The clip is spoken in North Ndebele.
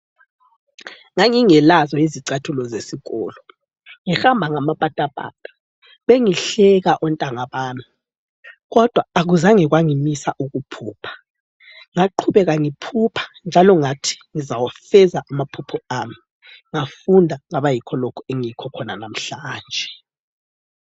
Ngangingelazo izicathulo zesikolo ngihamba ngamapatapata bengihleka ontanga bami kodwa akuzange kwangimisa ukuphupha ngaqhubeka ngiphupha njalo ngathi ngizawafeza amaphupho ami ngafunda ngaba yikho lokhu engiyikho khona namhlanje.